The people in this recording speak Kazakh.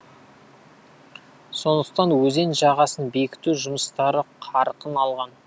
сондықтан өзен жағасын бекіту жұмыстары қарқын алған